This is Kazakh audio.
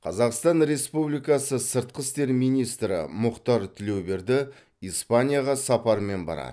қазақстан республикасы сыртқы істер министрі мұхтар тілеуберді испанияға сапармен барады